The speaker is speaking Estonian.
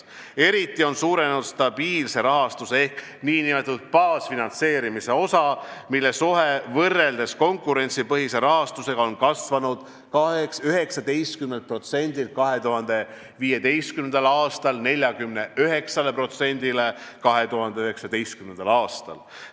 Eriti on suurenenud stabiilse rahastuse ehk nn baasfinantseerimise osa, mille suhe võrreldes konkurentsipõhise rahastusega on kasvanud 19%-st 2015. aastal 49%-ni 2019. aastal.